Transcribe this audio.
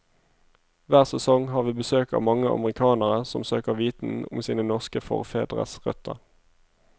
Hver sesong har vi besøk av mange amerikanere som søker viten om sine norske forfedres røtter.